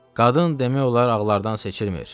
Qadın demək olar, ağlardan seçilmir.